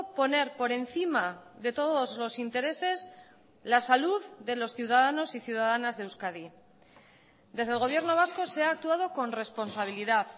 poner por encima de todos los intereses la salud de los ciudadanos y ciudadanas de euskadi desde el gobierno vasco se ha actuado con responsabilidad